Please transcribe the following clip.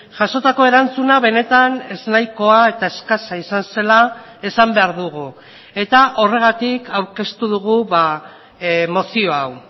jasotako erantzuna benetan eznahikoa eta eskasa izan zela esan behar dugu eta horregatik aurkeztu dugu mozio hau